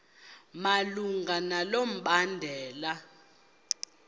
malunga nalo mbandela